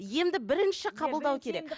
емді бірінші қабылдау керек